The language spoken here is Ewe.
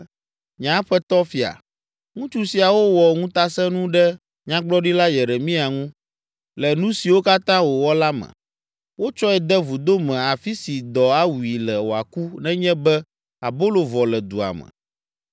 “Nye aƒetɔ fia, ŋutsu siawo wɔ ŋutasẽnu ɖe Nyagblɔɖila Yeremia ŋu, le nu siwo katã wowɔ la me. Wotsɔe de vudo me afi si dɔ awui le wòaku nenye be abolo vɔ le dua me.”